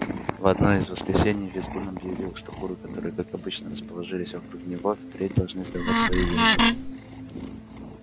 в одно из воскресений визгун объявил что куры которые как обычно расположились вокруг него впредь должны сдавать свои яйца